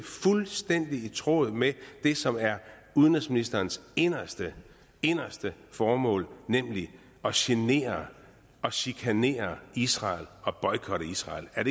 fuldstændig i tråd med det som er udenrigsministerens inderste inderste formål nemlig at genere og chikanere israel og boykotte israel er